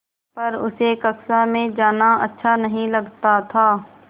पर उसे कक्षा में जाना अच्छा नहीं लगता था